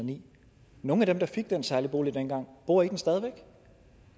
og ni nogle af dem der fik den særlige bolig dengang bor i den stadig væk